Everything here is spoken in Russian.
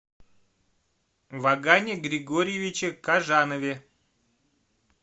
вагане григорьевиче кожанове